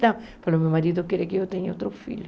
Falou, meu marido quer que eu tenha outro filho.